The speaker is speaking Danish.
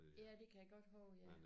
Ja det kan jeg godt huske ja